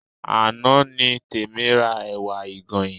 Àná ni Tèmi ra ẹ̀wà ìgànyìn